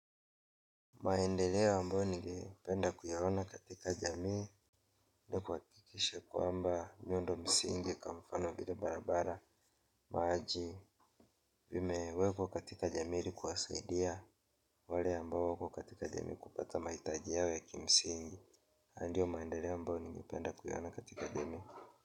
Maendeleo ambao ningependa kuyaona katika jamii na kuwakikisha kwamba miundo msingi kwa mfano lile barabara maji vimewekwa katika jamii ili kuwasaidia wale ambao wako katika jamii kupata mahitaji yao ya kimsingi ndio maendeleo ambao ningependa kuyaona katika jamii.